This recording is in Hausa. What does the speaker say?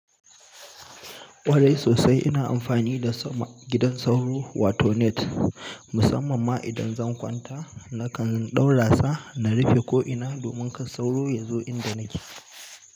Ƙwarai sosai ina amfani da gidan sauro wato net musamman ma idan zan kwanta nakan ɗaura sa na rufe ko'ina domin ka sauro yazo inda nake.